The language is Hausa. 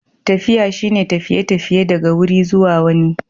Tafiya shine tafiye-tafiye daga wuri zuwa wani.